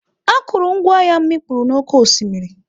Akụrụngwa m mikpuru n'oké osimiri.